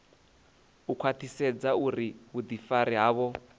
u khwaṱhisedza uri vhuḓifari havho